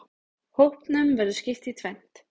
Hópnum verður skipt í tvennt.